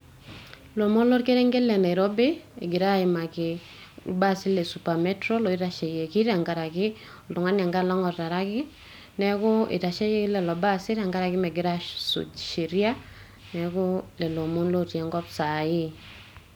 ilomon olkerenke le nairobi ,engirae aimaki ilbasi lesupa metro lotasheiki tenkaraki oltungani apailong ataraki niaku itasheyioki lelo baasi tenkaraki mengira asuj sheria niaku lelo omon otii enkop sai,